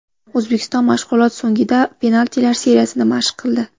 O‘zbekiston mashg‘ulot so‘ngida penaltilar seriyasini mashq qildi.